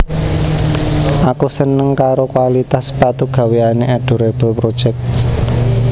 Aku seneng karo kualitas sepatu gaweane Adorable Project